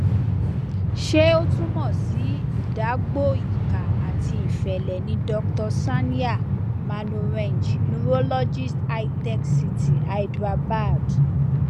ṣé o tumọ sí ìdágbò ìkà ati ìfẹlẹ ni dr sandhya manorenj neurologist hitech city hyderabad